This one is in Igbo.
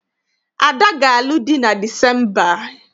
Ada ga-alụ di na Disemba.